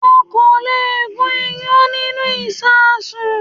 Won kò lè gún iyán nínúu ìṣasùn